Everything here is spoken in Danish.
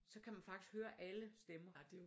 Så kan man faktisk høre alle stemmer